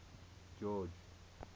george